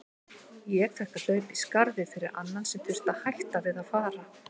Ég fékk að hlaupa í skarðið fyrir annan sem þurfti að hætta við að fara.